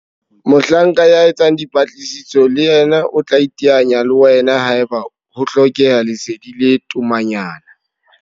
Mohlanka ya etsang dipatlisiso le yena o tla iteanya le wena haeba ho hlokeha lesedi le tomanyana.